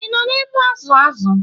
Ị nọ ebe a na-azụ̀ azụ̀?